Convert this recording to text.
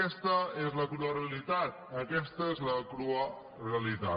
aquesta és la crua realitat aquesta és la crua realitat